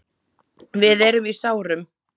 Við erum í sárum.